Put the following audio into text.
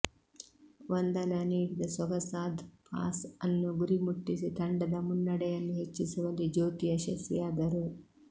ವಂದನಾ ನೀಡಿದ ಸೊಗಸಾದ್ ಪಾಸ್ ಅನ್ನು ಗುರಿ ಮುಟ್ಟಿಸಿ ತಂಡದ ಮುನ್ನಡೆಯನ್ನು ಹೆಚ್ಚಿಸುವಲ್ಲಿ ಜ್ಯೋತಿ ಯಶಸ್ವಿಯಾದರು